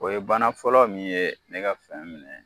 O ye bana fɔlɔ min ye ne ka fɛn minɛ